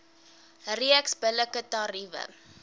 reeks billike tariewe